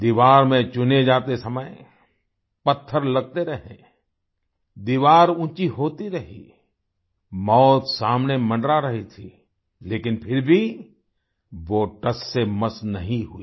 दीवार में चुने जाते समय पत्थर लगते रहे दीवार ऊँची होती रही मौत सामने मंडरा रही थी लेकिन फिर भी वो टससेमस नहीं हुए